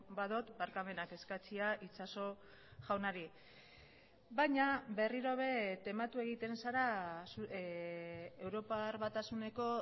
badut barkamenak eskatzea itxaso jaunari baina berriro ere tematu egiten zara europar batasuneko